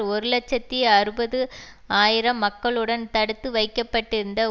ஒரு இலட்சத்தி அறுபது ஆயிரம் மக்களுடன் தடுத்து வைக்க பட்டிருந்த